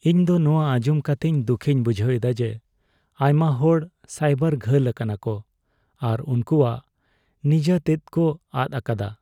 ᱤᱧ ᱫᱚ ᱱᱚᱣᱟ ᱟᱸᱡᱚᱢ ᱠᱟᱛᱮᱫ ᱫᱩᱠᱷᱤᱧ ᱵᱩᱡᱷᱮᱫᱟ ᱡᱮ ᱟᱭᱢᱟ ᱦᱚᱲ ᱥᱟᱭᱵᱟᱨ ᱜᱷᱟᱹᱞ ᱟᱠᱟᱱᱟ ᱠᱚ ᱟᱨ ᱩᱝᱠᱩᱣᱟᱜ ᱱᱤᱡᱟᱹ ᱛᱮᱛᱮᱫ ᱠᱚ ᱟᱫ ᱟᱠᱟᱫᱟ ᱾